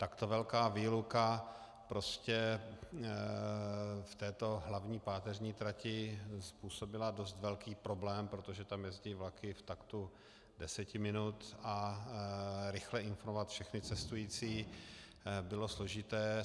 Takto velká výluka prostě v této hlavní páteřní trati způsobila dost velký problém, protože tam jezdí vlaky v taktu deseti minut a rychle informovat všechny cestující bylo složité.